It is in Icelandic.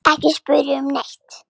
Ekki spyrja um neitt.